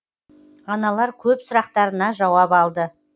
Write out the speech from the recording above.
аналар көп сұрақтарына жауап алды